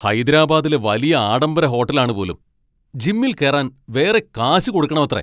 ഹൈദരാബാദിലെ വലിയ ആഢംബര ഹോട്ടൽ ആണ് പോലും! ജിമ്മിൽ കേറാൻ വേറെ കാശ് കൊടുക്കണമത്രേ.